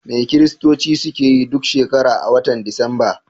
Me Kiristoci suke yi duk shekara a wata disamba?